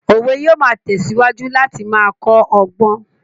Òwe yóò máa tẹ̀síwájú láti máa kọ́ ọgbọ́n